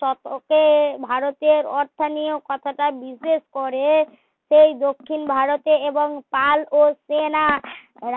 শতকে ভারতের অর্থনীয় কথাটা বিশেষ করে এই দক্ষিণ ভারতে এবং পাল ও সেনা